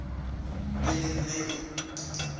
e le eng ge e